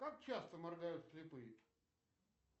как часто моргают слепые